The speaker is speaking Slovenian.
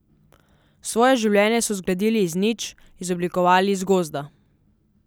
Svoje življenje so zgradili iz nič, izoblikovali iz gozda.